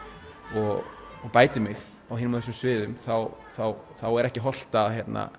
og bæti mig á ýmsum svæðum þá þá er ekki hollt að